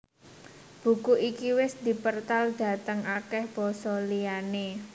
Buku iki wis dipertal dhateng akèh basa liyané